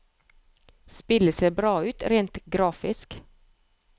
Spillet ser bra ut rent grafisk.